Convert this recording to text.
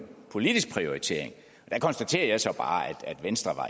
politisk prioritering der konstaterer jeg så bare at venstre